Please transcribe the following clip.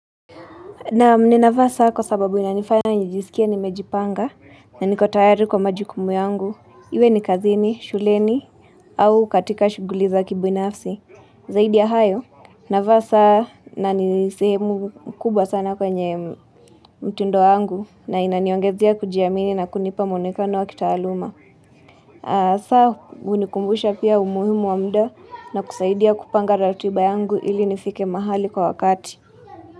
Naam ninavaa saa kwa sababu inanifanya nijisikie nimejipanga na nikoctayari kwa majukumu yangu. Iwe ni kazini, shuleni au katika shughuli za kibinafsi. Zaidi ya hayo, navaa saa na ni sehemu kubwa sana kwenye mtindo wangu na inaniongezea kujiamini na kunipa muonekano wa kitaaluma. Saa hunikumbusha pia umuhimu wa muda na kusaidia kupanga ratiba yangu ili nifike mahali kwa wakati.